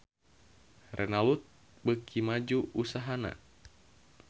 Renault beuki maju usahana